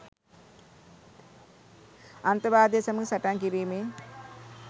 අන්තවාදය සමඟ සටන් කිරීමේ